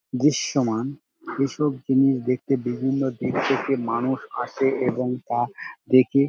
দৃশ্যমান এইসব জিনিস দেখতে বিভিন্ন দেশ থেকে মানুষ আসে এবং তা দেখে --